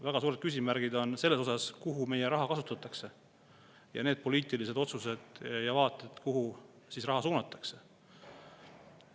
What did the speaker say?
Väga suured küsimärgid on selles osas, milleks meie raha kasutatakse, need poliitilised otsused, kuhu raha suunatakse.